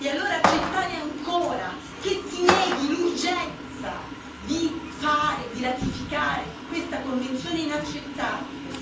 E allora accettare ancora che si neghi l'urgenza di ratificare questa Convenzione è inaccettabile.